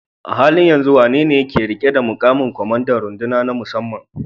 A halin yanzu wanene ke riƙe da muƙamin kwamandan runduna ta musamman?